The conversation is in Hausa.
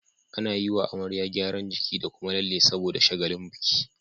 Ana yiwa amarya gyaran jiki da Kuma lalle saboda shagalin biki